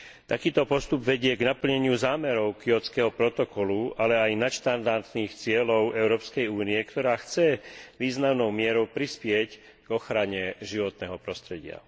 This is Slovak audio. Takýto postup vedie k naplneniu zámerov Kjótskeho protokolu, ale aj nadštandardných cieľov Európskej únie, ktorá chce významnou mierou prispieť k ochrane životného prostredia.